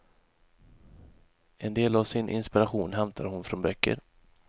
En del av sin inspiration hämtar hon från böcker.